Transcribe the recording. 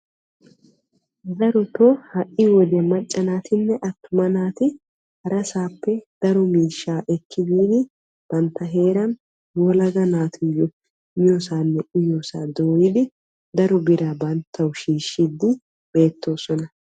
Darotoo ha"i wodiyan maacca naatinne attuma naati harasaappe daro miishshaa ekki biidi bantta heeran yelaga naatuyo miyosaanne uyiyoosaa dooyidi daro biraa banttawu shiishiiddi beettoosona.